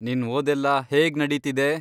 ನಿನ್ ಓದೆಲ್ಲ ಹೇಗ್ ನಡೀತಿದೆ?